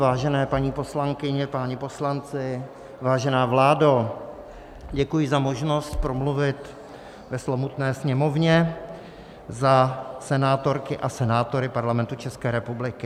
Vážené paní poslankyně, páni poslanci, vážená vládo, děkuji za možnost promluvit ve slovutné Sněmovně za senátory a senátorky Parlamentu České republiky.